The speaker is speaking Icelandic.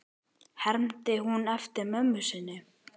hermdi hún eftir mömmu sinni.